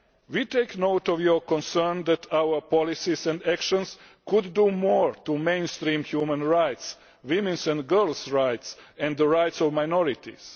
We take note of your concern that our policies and action could do more to mainstream human rights, women's and girls' rights and the rights of minorities.